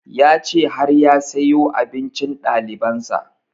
Ya ce har ya siyo abincin ɗaliban sa